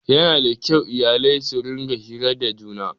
Yana da kyau iyalai su rinƙa hira da juna